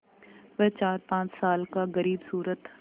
वह चारपाँच साल का ग़रीबसूरत